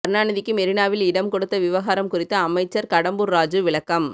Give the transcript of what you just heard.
கருணாநிதிக்கு மெரினாவில் இடம் கொடுத்த விவகாரம் குறித்து அமைச்சர் கடம்பூர் ராஜூ விளக்கம்